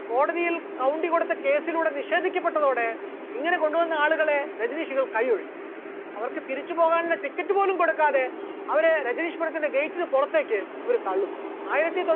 കോടതിയിൽ കൗണ്ടി കൊടുത്ത case ലൂടെ നിഷേധിക്കപെട്ടതോടെ ഇങ്ങനെകൊണ്ടുവന്ന ആളുകളെ രജനീഷുകൾ കയ്യൊഴിഞ്ഞു, അവർക്ക് തിരിച്ചുപോകാനുള്ള ticket പോലും കൊടുക്കാതെ അവരെ രജനീഷ്‌പുരത്തിന്റെ gate ന് പുറത്തേക്ക് ഇവർ തള്ളുന്നു, ആയിരത്തി